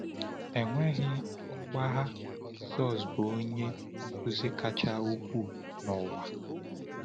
Enweghị mgbagha, Jisọs bụ Onye Nkuzi kacha ukwuu n’ụwa!